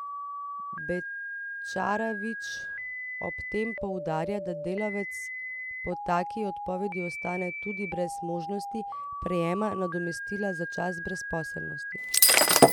Bečarević ob tem poudarja, da delavec po taki odpovedi ostane tudi brez možnosti prejema nadomestila za čas brezposelnosti.